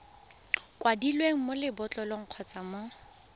kwadilweng mo lebotlolong kgotsa mo